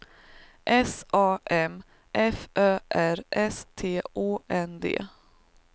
S A M F Ö R S T Å N D